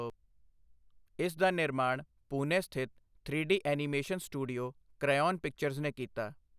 ਇਸ ਦਾ ਨਿਰਮਾਣ ਪੂਨੇ ਸਥਿਤ three D animation studio Crayon Pictures ਨੇ ਕੀਤਾ ਹੈ।